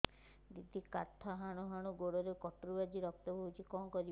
ଦିଦି କାଠ ହାଣୁ ହାଣୁ ଗୋଡରେ କଟୁରୀ ବାଜି ରକ୍ତ ବୋହୁଛି କଣ କରିବି